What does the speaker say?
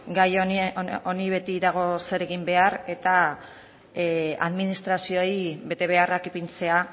gai honi beti dago zer egin behar eta administrazioei betebeharrak ipintzea